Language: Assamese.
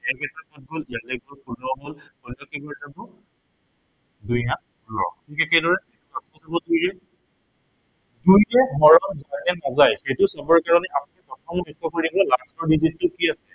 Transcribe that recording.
ষোল্লক কেইবাৰ যাব দুই আঠ ষোল্ল। ঠিক একেদৰে দুইৰে হৰণ যায় নে নাযায়, সেইটো চাবৰ কাৰনে আপুনি প্ৰথমে লক্ষ্য় কৰিব last ৰ digit টো কি আছিলে